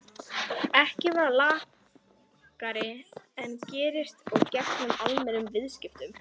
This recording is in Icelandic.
ekki vera lakari en gerist og gengur í almennum viðskiptum.